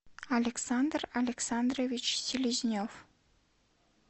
александр александрович селезнев